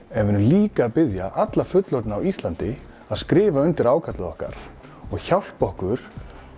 en við erum líka að biðja alla fullorðna á Íslandi að skrifa undir ákallið okkar og hjálpi okkur